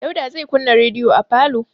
Dauda zai kunna rediyo a falo.